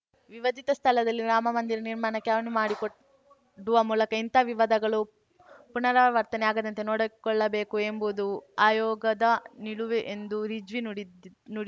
ವಿವಾದಿತ ಸ್ಥಳದಲ್ಲಿ ರಾಮಮಂದಿರ ನಿರ್ಮಾಣಕ್ಕೆ ಅನುವು ಮಾಡಿಕೊಡುವ ಮೂಲಕ ಇಂತಹ ವಿವಾದಗಳು ಪುನರಾವರ್ತನೆ ಆಗದಂತೆ ನೋಡಿಕೊಳ್ಳಬೇಕು ಎಂಬುದು ಆಯೋಗದ ನಿಲುವು ಎಂದು ರಿಜ್ವಿ ನುಡಿದಿದ್ ನುಡಿ